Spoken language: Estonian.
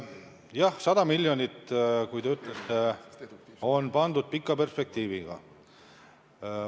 Jah, 100 miljonit on paika pandud pika perspektiiviga.